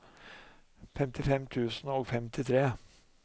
femtifem tusen og femtitre